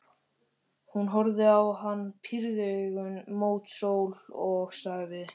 Hún horfði á hann, pírði augun mót sól og sagði